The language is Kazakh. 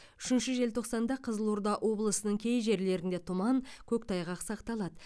үшінші желтоқсанда қызылорда облысының кей жерлерінде тұман көктайғақ сақталады